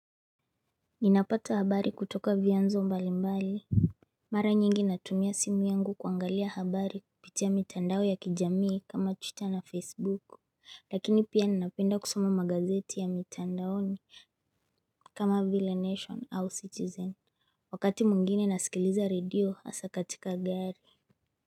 Ninapata habari kutoka vianzo mbali mbali. Mara nyingi natumia simu yangu kuangalia habari kupitia mitandao ya kijamii kama Twitter na Facebook Lakini pia ninapenda kusoma magazeti ya mitandaoni. Kama vile Nation au Citizen Wakati mwingine nasikiliza radio hasa katika gari.